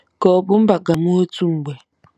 Ka ọ̀ bụ mba ga-amụ otu mgbe?